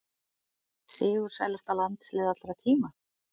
Sigursælasta landslið allra tíma?